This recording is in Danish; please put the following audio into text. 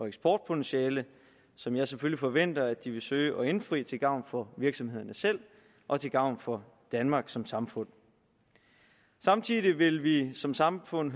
eksportpotentiale som jeg selvfølgelig forventer at de vil søge at indfri til gavn for virksomhederne selv og til gavn for danmark som samfund samtidig vil vi som samfund